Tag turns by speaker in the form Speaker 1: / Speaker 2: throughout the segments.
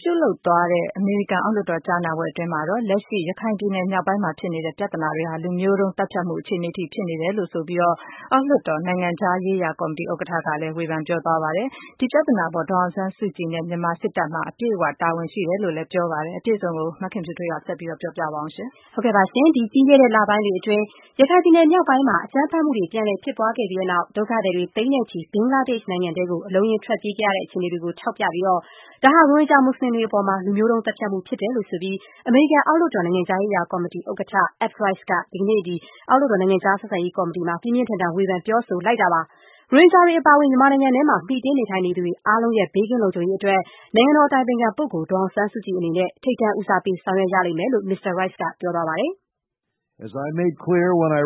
Speaker 1: ပြုလုပ်သွားတဲ့ အမေရိကန်အောက်လွှတ်တော်ကြားနာပွဲအတွင်းမှာတော့ လက်ရှိ ရခိုင်ပြည်နယ်မြောက်ပိုင်းမှာ ဖြစ်နေတဲ့ ပြဿနာတွေဟာ လူမျိုးတုံး သတ်ဖြတ်မှု အခြေအနေအထိ ဖြစ်နေတယ်လို့ ဆိုပြီး အောက်လွှတ်တော် နိုင်ငံခြားရေးရာကော်မတီ ဥက္ကဋ္ဌ Ed Royce က ဝေဖန်ပြောဆိုသွားပါတယ်။ ဒီပြဿနာအပေါ် ဒေါ်အောင်ဆန်းစုကြည်နဲ့ မြန်မာစစ်တပ်မှာ အပြည့်အ၀ တာဝန်ရှိတယ်လို့လည်း ပြောသွားပါတယ်။ အပြည်စုံကို မခင်ဖြူထွေးက ဆက်ပြောပြပါမယ်။ ပြီးခဲ့တဲ့လပိုင်းတွေအတွင်း ရခိုင်ပြည်နယ် မြောက်ပိုင်းမှာ အကြမ်းဖက်မှုတွေ ပြန်လည် ဖြစ်ပွားခဲ့ပြီးတဲ့နောက် ဒုက္ခသည်တွေ သိန်းနဲ့ချီ အိမ်နီးချင်း ဘင်္ဂလားဒေ့ရှ် နိုင်ငံထဲ အလုံးအရင်း ထွက်ပြေးခဲ့ရတဲ့ အခြေအနေတွေကို ထောက်ပြပြီး ဒါဟာ ရိုဟင်ဂျာမူစလင်တွေအပေါ် လူမျိုးတုံး သတ်ဖြတ်မှု ဖြစ်တယ်လို့ အမေရိကန် အောက်လွှတ်တော် နိုင်ငံခြားရေးရာကော်မတီ ဥက္ကဋ္ဌ Ed Royce က ဒီကနေ့ အောက်လွှတ်တော် နိုင်ငံခြားဆက်ဆံရေးကော်မတီမှာ ပြင်းပြင်းထန်ထန် ဝေဖန် ပြောဆိုလိုက်ပါတယ်။ ရိုဟင်ဂျာတွေ အပါအဝင် မြန်မာနိုင်ငံထဲမှာ မှီတင်း နေထိုင်နေထိုင်သူ အားလုံးရဲ့ ဘေးကင်းလုံခြုံရေးအတွက် နိုင်ငံတော်အတိုင်ပင်ခံပုဂ္ဂိုလ် ဒေါ်အောင်ဆန်းစုကြည် အနေနဲ့ ထိပ်တန်း ဦးစားပေး ဆောင်ရွက်ရလိမ့်မယ်လို့ မစ္စတာ Royce က ပြောသွားပါတယ်။
Speaker 2: “လွန်ခဲ့တဲ့တလ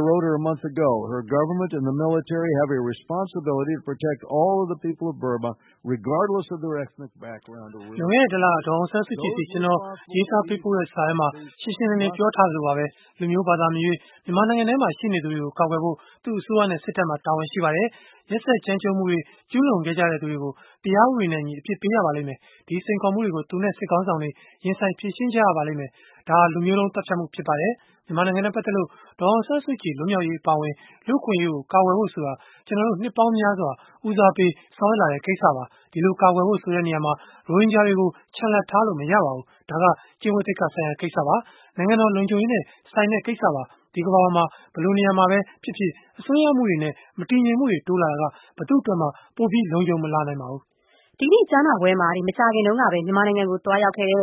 Speaker 2: က
Speaker 3: ဒေါ်အောင်ဆန်းစုကြည်ဆီ ကျနော် ရေးပို့ခဲ့တဲ့စာထဲမှာ ရှင်းရှင်းလင်းလင်း ပြောခဲ့သလိုပါပဲ… လူမျိုး၊ ဘာသာမရွေး မြန်မာနိုင်ငံထဲမှာ ရှိနေသူတွေကို ကာကွယ်ဖို့ သူမရဲ့အစိုးရနဲ့ စစ်တပ်မှာ တာဝန်ရှိပါတယ်။ ရက်စက်ကြမ်းကြုတ်မှုတွေ ကျူးလွန်ခဲ့ကြသူတွေကို တရားဥပဒေနဲ့အညီ အပြစ်ပေးရပါမယ်။ ဒီစိန်ခေါ်မှုတွေကို သူမနဲ့ စစ်ခေါင်းဆောင်တွေ ရင်ဆိုင် ဖြေရှင်းရပါလိမ့်မယ်။ ဒါဟာ လူမျိုးတုံး သတ်ဖြတ်မှုဖြစ်ပါတယ်။ မြန်မာနိုင်ငံနဲ့ပတ်သက်လို့ ဒေါ်အောင်ဆန်းစုကြည် လွတ်မြောက်ရေး အပါအဝင် လူ့အခွင့်အရေးကို ကာကွယ်ဖို့ ဆိုတာ ကျနော်တို့ နှစ်ပေါင်းများစွာ ဦးစားပေး ဆောင်ရွက်လာတဲ့ကိစ္စပါ။ ဒီလိုကာကွယ်ဖို့ဆိုတာမှာ ရိုဟင်ဂျာတွေကို ချန်လှပ်ထားလို့ မရပါဘူး။ ဒါက ကျင့်ဝတ်သိက္ခာဆိုင်ရာ ကိစ္စပါ။ နိုင်ငံတော် လုံခြုံရေးနဲ့ဆိုင်တဲ့ကိစ္စပါ။ ဒီကမ္ဘာပေါ်က ဘယ်လိုနေမှာပဲ ဖြစ်ဖြစ် အစွန်းရောက်မှုတွေနဲ့ မတည်ငြိမ်မှုတွေ တိုးလာတာက ဘယ်သူ့အတွက်မှ ပိုပြီး လုံခြုံမလာပါဘူး။
Speaker 1: ” ဒီကနေ့ ကြားနာပွဲမှာ မကြာခင်ကပဲ မြန်မာနိုင်ငံကို သွားရောက်ခဲ့တဲ့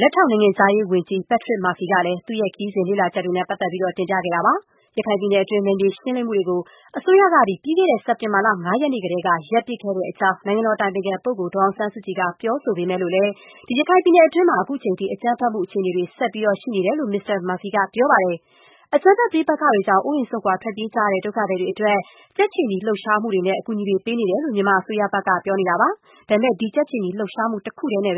Speaker 1: လက်ထောက်နိုင်ငံခြားရေးဝန်ကြီး Patrick Murphy ကလည်း သူ့ခရီးစဉ် လေ့လာချက်တွေနဲ့ပတ်သက်လို့ တင်ပြသွားပါတယ်။ ရခိုင်ပြည်နယ်တွင်း နယ်မြေရှင်းလင်းမှုတွေကို အစိုးရက ပြီးခဲ့တဲ့ စက်တင်ဘာလ ၅ ရက်နေ့ကတည်းက ရပ်ပစ်ခဲ့တဲ့အကြောင်း နိုင်ငံတော်အတိုင်ပင်ခံ ပုဂ္ဂိုလ်ဒေါ်အောင်ဆန်းစုကြည်က ပြောဆိုပေမဲ့လို့လည်း ရခိုင်ပြည်နယ် တွင်းမှာ ခုချိန်ထိ အကြမ်းဖက်မှုအခြေအနေတွေ ဆက်ပြီး ရှိနေတယ်လို့ မစ္စတာ Murphy ကပြောပါတယ်။ အကြမ်းဖက်ပဋိပက္ခတွေကြောင့် အိုးအိမ်စွန့်ခွာ ထွက်ပြေးခဲ့ကြရတဲ့ ဒုက္ခသည်တွေအတွက် ကြက်ခြေနီလှုပ်ရှားမှုတွေနဲ့ အကူအညီတွေ ပေးနေတယ်လို့ မြန်မာ အစိုးရဘက်က ပြောဆိုထားတာပါ။ ဒါပေမဲ့ ဒီ ကြက်ခြေနီလှုပ်ရှားမှု တခုတည်းနဲ့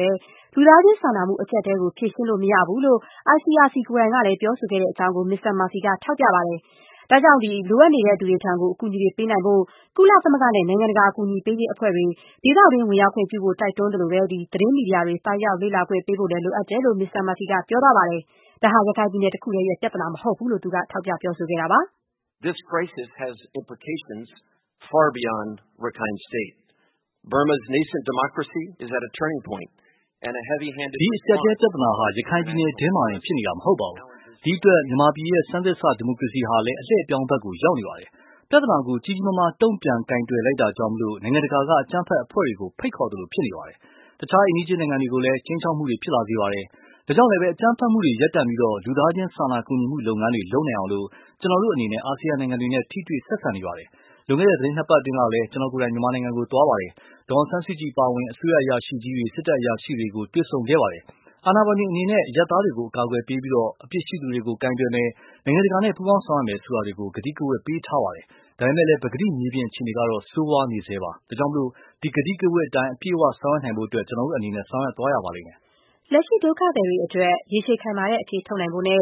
Speaker 1: လူသားချင်းစာနာမှု အကျပ်အတည်းကို ဖြေရှင်းလို့ မရဘူလို့ နိုင်ငံတကာ ကြက်ခြေနီအဖွဲ ICRC ကိုယ်တိုင်က ပြောဆိုခဲ့တဲ့အကြောင်း မစ္စတာ Murphy က ထောက်ပြပါတယ်။ ဒါကြောင့် လိုအပ်နေသူတွေထံ အကူအညီတွေ ပေးနိုင်ဖို့ ကုလသမဂ္ဂနဲ့ နိုင်ငံတကာ အကူအညီပေးရေးအဖွဲ့တွေ ဒေသတွင်း ဝင်ရောက်ခွင့်ပြုဖို့ တိုက်တွန်းသလို၊ သတင်းမီဒီယာတွေ သွားရောက် လေ့လာခွင့်ပေးဖို့ လိုအပ်တဲ့အကြောင်းလည်း မစ္စတာ မာဖီက ပြောသွားပါတယ်။ ဒါဟာ ရခိုင်ပြည်နယ်တခုတည်းရဲ့ ပြဿနာ မဟုတ်ဘူးလို့ သူက ပြောသွားပါတယ်။ “အခု ဒီအကျပ်အတည်း
Speaker 2: ပြဿနာဟာ ရခိုင်ပြည်နယ်တွင်းမှာတင် ဖြစ်နေတာမဟုတ်ဘဲ၊ တခြား မြန်မာပြည်ရဲ့ ဆန်းသစ်စ ဒီမိုကရေစီဟာလည်း အလှည့်အပြောင်းကို ရောက်နေပါတယ်။ ပြဿနာကို ကြီးကြီးမားမား တုံ့ပြန်ကိုင်တွယ်လိုက်တာကြောင့် နိုင်ငံတကာက အကြမ်းဖက်အဖွဲ့တွေကို ဖိတ်ခေါ်သလိုဖြစ်နေပါတယ်။ အခြား အိမ်နီးချင်းနိုင်ငံတွေကိုလည်း ခြိမ်းခြောက်မှုတွေ ဖြစ်လာစေပါတယ်။ ဒါကြောင့်လဲ အကြမ်းဖက်မှုတွေရပ်တန့်ပြီး လူသားချင်းစာနာကူညီမှုလုပ်ငန်းတွေ လုပ်နိုင်အောင် ကျနော်တို့အနေနဲ့ အာဆီယံနိုင်ငံတွေနဲ့ ထိတွေ့ဆက်ဆံနေပါတယ်။ လွန်ခဲ့တဲ့ သီတင်းနှစ်ပတ်အတွင်းကလည်း ကျနော်ကိုယ်တိုင် မြန်မာနိုင်ငံကို ရောက်ခဲ့ပါတယ်။ ဒေါ်အောင်ဆန်းစုကြည်ပါအဝင် အစိုးရအရာရှိကြီးတွေ စစ်တပ်အရာရှိကြီးတွေကို တွေ့ဆုံခဲ့ပါတယ်။ အာဏာပိုင်တွေအနေနဲ့ အရပ်သားတွေကို အကာအကွယ်ပေးပြီး၊ အပြစ်ရှိသူတွေကို ကိုင်တွယ်မယ်၊ နိုင်ငံတကာနဲ့ ပူးပေါင်း ဆောင်ရွက်မယ်ဆိုတာတွေကို ကတိကဝတ်ပေးထားပါတယ်။ ဒါပေမဲလည်း ပကတိ မြေပြင်အခြေအနေကတော့ ဆိုးဝါးနေဆဲပါ။ ဒါကြောင့် ဒီ ကတိကဝတ်အတိုင်း အပြည့်အ၀ ဆောင်ရွက်နိုင်ဖို့အတွက် ကျနော်တို့အနေနဲ့ ဆောင်ရွက်သွားရပါလိမ့်မယ်။
Speaker 1: ” လက်ရှိ ဒုက္ခသည်တွေအတွက် ရေရှည်ခိုင်မာတဲ့ အဖြေထုတ်နိုင်ဖို့နဲ့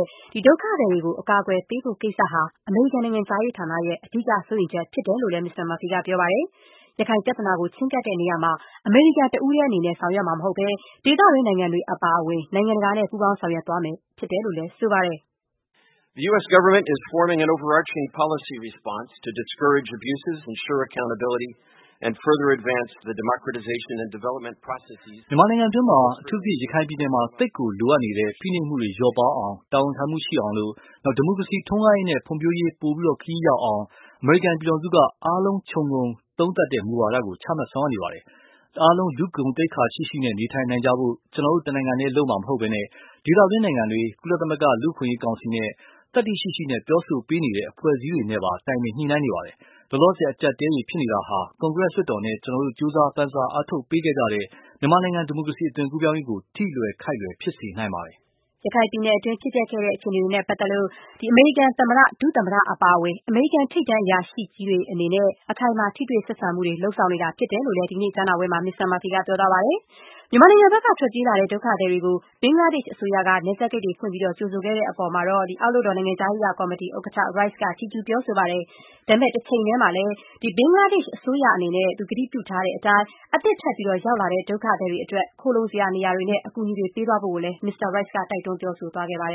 Speaker 1: ဒုက္ခသည်တွေကို အကာအကွယ်ပေးဖို့ကိစ္စဟာ အမေရိကန်နိုင်ငံခြားရေး ဌာနရဲ့ အဓိက စိုးရိမ်ချက်ဖြစ်တယ်လို့လည်း မစ္စတာ Murphy က ပြောပါတယ်။ ရခိုင်ပြဿနာ ချဉ်းကပ်တဲ့နေရာမှာ အမေရိကန်တဦးတည်း အနေနဲ့ ဆောင်ရွက်မှာ မဟုတ်ဘဲ ဒေသတွင်းနိုင်ငံတွေ အပါအဝင် နိုင်ငံတကာနဲ့ ပူးပေါင်းဆောင်ရွက်သွားမယ်လို့ သူက ပြောပါတယ်
Speaker 2: ။ “မြန်မာနိုင်ငံတွင်းမှာ အထူးသဖြင့် ရခိုင်ပြည်နယ်မှာ သိပ်ကိုလိုအပ်နေတဲ့ ဖိနှပ်မှုတွေလျော့ပါးအောင်၊ တာဝန်ခံမှုရှိအောင်၊ ဒီမိုကရေစီထွန်းကားရေးနဲ့ ဖွံ့ဖြိုးရေး ပိုမိုခရီးရောက်အောင်၊ အမေရိကန်ပြည်ထောင်စုက အားလုံးခြုံသုံးသပ်တဲ့ မူဝါဒကိုချမှတ် ဆောင်ရွက်နေပါတယ်။ အားလုံးလူ့ဂုဏ်သိက္ခာရှိရှိ နေနိုင်ကြဖို့ ကျနော်တို့ တနိုင်ငံတည်း လုပ်မှာမဟုတ်ဘဲ ဒေသတွင်းနိုင်ငံတွေ၊ ကုလသမဂ္ဂ လူ့အခွင့်အရေး ကောင်စီနဲ့ သတ္တိရှိရှိပြောဆိုပေးနေတဲ့ အဖွဲှအစည်းတွေနဲ့ပါ တိုင်ပင်ညှိနှိုင်းနေပါတယ်။ လောလောဆယ် အကျပ်အတည်းတွေ ဖြစ်နေတာဟာ ကွန်ကရက်လွှတ်တော်နဲ့ ကျနော်တို့ ကြိုးစားပမ်းစားအားထုတ်ပေးခဲ့ကြတဲ့ မြန်မာနိုင်ငံ ဒီမိုကရေစီ အသွင်ကူးပြောင်းရေးကို ထိလွယ်ခိုက်လွယ် ဖြစ်စေနိုင်ပါတယ်။
Speaker 1: ” ရခိုင်ပြည်နယ်တွင်း ဖြစ်ပျက်ခဲ့တဲ့ အခြေအနေတွေနဲ့ပတ်သက်လို့ အမေရိကန် သမ္မတ၊ ဒုသမ္မတ အပါအဝင် အမေရိကန် ထိပ်တန်း အရာရှိတွေ အနေနဲ့ အခိုင်အမာ ထိတွေ့ဆက်ဆံမှုတွေ ဆောင်ရွက်နေတာဖြစ်တယ်လို့လည်း မစ္စတာ Murphy က ပြောသွားပါတယ်။ မြန်မာနိုင်ငံဘက်က ထွက်ပြေးလာတဲ့ ဒုက္ခသည်တွေကို ဘင်္ဂလားဒေ့ရှ်အစိုးရက နယ်စပ်ဂိတ်တွေ ဖွင့်ပြီး ကြိုဆိုခဲ့တဲ့အပေါ်မှာတော့ အောက်လွှတ်တော် နိုင်ငံခြားရေးရာကော်မတီ ဥက္ကဋ္ဌ Royce က ဒီကနေ့ ကြားနာပွဲမှာ ချီးကျူးပြောဆိုသွားပါတယ်။ ဒါပေမဲ့ တချိန်တည်းမှာလည်း ဘင်္ဂလားဒေ့ရှ် အစိုးရအနေနဲ့ ကတိပြုထားတဲ့အတိုင်း အသစ်ထပ်မံ ရောက်လာတဲ့ ဒုက္ခသည်တွေအတွက် ခိုလုံစရာနေရာတွေနဲ့ အကူအညီတွေ ပေးသွားဖို့ကို မစ္စတာ Royce က တိုက်တွန်း ပြောဆိုသွားပါတယ်